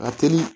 Ka teli